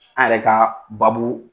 An yɛrɛ ka babu